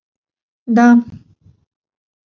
да